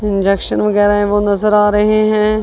Injection वगैरा है वो नजर आ रहे हैं।